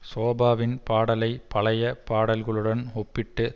ஷோபாவின் பாடலை பழைய பாடல்களுடன் ஒப்பிட்டு